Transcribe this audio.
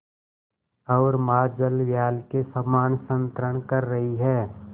ओर महाजलव्याल के समान संतरण कर रही है